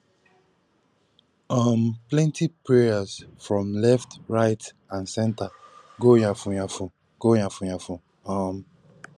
um plenti prayers from left right and center go yafun yafun go yafun yafun um